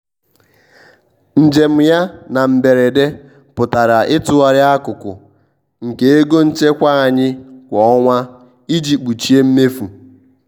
njem ya na mberede pụtara ịtụgharị akụkụ nke ego nchekwa anyị kwa ọnwa iji kpuchie mmefu